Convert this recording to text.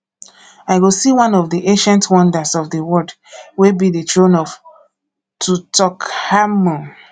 i go see one of the ancient wonders of the world wey be the throne of tutankhamun